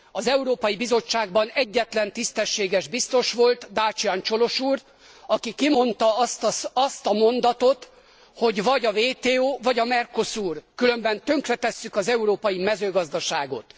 Az Európai Bizottságban egyetlen tisztességes biztos volt, Dacian Colos úr, aki kimondta azt a mondatot, hogy vagy a WTO vagy a MERCOSUR, különben tönkretesszük az európai mezőgazdaságot.